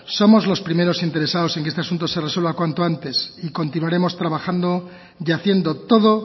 somos los primeros interesados en que este asunto se resuelva cuanto antes y continuaremos trabajando y haciendo todo